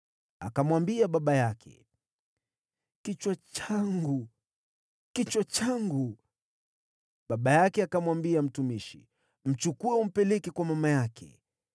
Akamwambia baba yake, “Kichwa changu! Kichwa changu!” Baba yake akamwambia mtumishi, “Mchukue umpeleke kwa mama yake.”